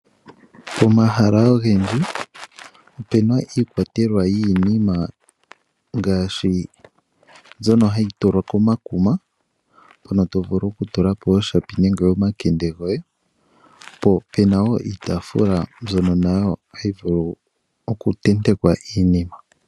Pomahala ogendji opu na iikwatelwa yiinima ngaashi mbyoka hayi tulwa komakuma, mpoka to vulu okutula po iipatululo nenge omakende goye, po pe na wo iitaafula mbyono hayi vulu okutentekwa iinima.